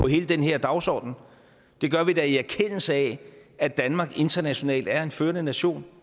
hele den her dagsorden det gør vi da i erkendelse af at danmark internationalt er en førende nation